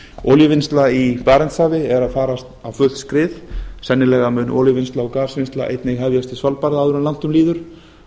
olíuvinnsla í barentshafi er að fara á fullt skrið sennilega mun olíuvinnsla og gasvinnsla einnig hefjast við svalbarða áður en langt um líður